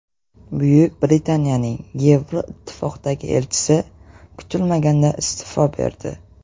Buyuk Britaniyaning Yevroittifoqdagi elchisi kutilmaganda iste’fo berdi.